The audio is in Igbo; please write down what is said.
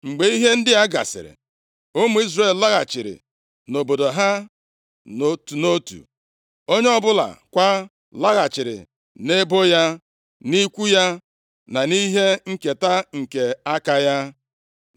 Mgbe ihe ndị a gasịrị, ụmụ Izrel laghachiri nʼobodo ha, nʼotu nʼotu, onye ọbụla kwa laghachiri nʼebo ya, nʼikwu ya, nʼihe nketa nke aka ya.